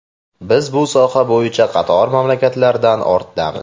Biz bu soha bo‘yicha qator mamlakatlardan ortdamiz.